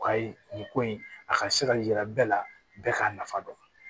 U ka ye nin ko in a ka se ka yira bɛɛ la bɛɛ k'a nafa dɔn